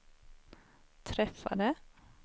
träffade